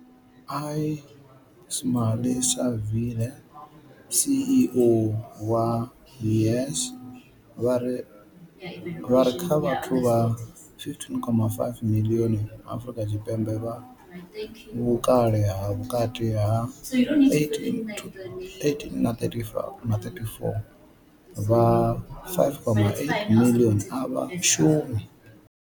Ismail-Saville CEO wa YES, vha ri kha vhathu vha 15.5 miḽioni Afrika Tshipembe vha vhukale ha vhukati ha 18 na 34, vha 5.8 miḽioni a vha shumi.